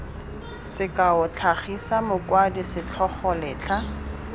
sekao tlhagisa mokwadi setlhogo letlha